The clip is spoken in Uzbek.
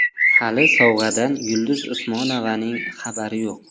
Hali sovg‘adan Yulduz Usmonovaning xabari yo‘q.